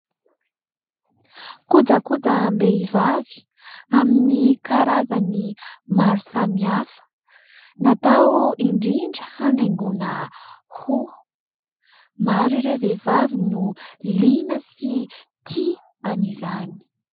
Kojakojam-behivavy amin'ny karazany maro samy hafa. Natao indrindra hanaingoina hoho. Maro ireo vehivavy no liana sy tia an'izany.